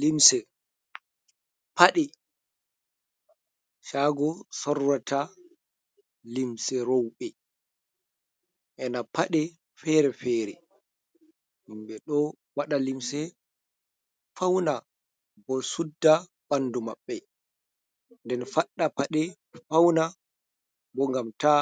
Limse paɗe shago sorrata limse rouɓe ena paɗe fere fere himɓe ɗo waɗa limse fauna bo sudda bandu maɓɓe nden faɗɗa paɗe fauna bo ngam ta